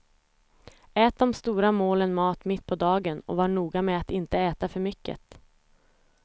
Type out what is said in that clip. Ät de stora målen mat mitt på dagen och var noga med att inte äta för mycket.